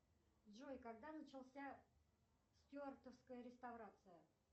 джой когда начался стюартовская реставрация